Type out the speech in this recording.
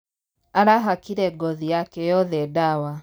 Arahakire ngothi yake yothe ndawa